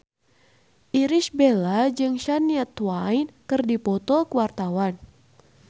Irish Bella jeung Shania Twain keur dipoto ku wartawan